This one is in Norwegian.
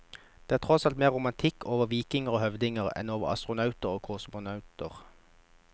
Det er tross alt mer romantikk over vikinger og høvdinger enn over astronauter og kosmonauter.